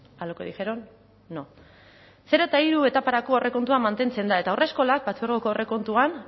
a lo que dijeron no zero eta hiru etaparako aurrekontua mantentzen da eta haurreskolak partzuergoko aurrekontuan